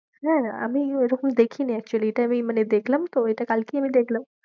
হ্যাঁ, আমি ঐরকম দেখিনি actually এটা আমি মানে দেখলাম তো, এটা কালকেই আমি দেখলাম।